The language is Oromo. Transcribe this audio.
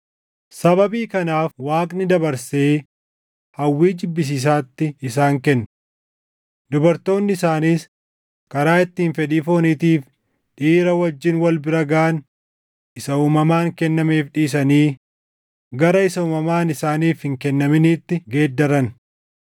Sababii kanaaf Waaqni dabarsee hawwii jibbisiisaatti isaan kenne. Dubartoonni isaaniis karaa ittiin fedhii fooniitiif dhiira wajjin wal bira gaʼan isa uumamaan kennameef dhiisanii, gara isa uumamaan isaaniif hin kennaminitti geeddaran.